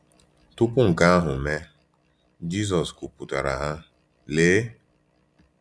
Tupu nke ahụ mee, Jisọs kwuputara ha: “Lee!”